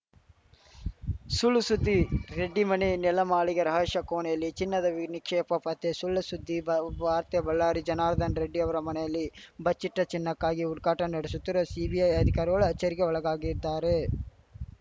ಸುಳ್‌ ಸುದ್ದಿ ರೆಡ್ಡಿ ಮನೆ ನೆಲಮಾಳಿಗೆ ರಹಶ್ಯ ಕೋಣೆಯಲ್ಲಿ ಚಿನ್ನದ ವಿ ನಿಕ್ಷೇಪ ಪತ್ತೆ ಸುಳ್‌ಸುದ್ದಿ ಬ ವಾರ್ತೆ ಬಳ್ಳಾರಿ ಜನಾರ್ದನ ರೆಡ್ಡಿ ಅವರ ಮನೆಯಲ್ಲಿ ಬಚ್ಚಿಟ್ಟಚಿನ್ನಕ್ಕಾಗಿ ಹುಡುಕಾಟ ನಡೆಶುತ್ತಿರುವ ಸಿಬಿಐ ಅಧಿಕಾರಿಗಳು ಅಚ್ಚರಿಗೆ ಒಳಗಾಗಿದ್ದಾರೆ